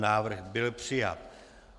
Návrh byl přijat.